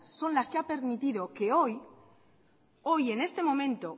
son las que ha permitido que hoy hoy en este momento